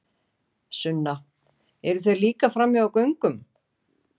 Sunna: Eru þeir líka frammi á göngum?